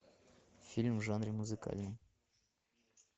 фильм в жанре музыкальный